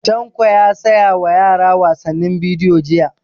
Tanko ya saya wa yara wasannin bidiyo jiya